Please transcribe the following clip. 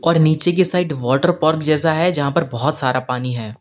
और नीचे की साइड वाटर पार्क जैसा है जहां पर बहोत सारा पानी है।